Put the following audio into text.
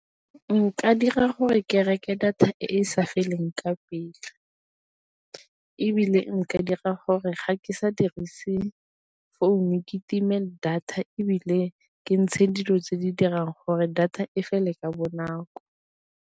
Nka dira gore ke reke data e e sa feleng ka pele, ebile nka dira gore ga ke sa dirise founu ke time data ebile ke ntshe dilo tse di dirang gore data e fele ka bonako.